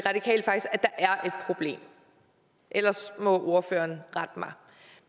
problem ellers må ordføreren rette mig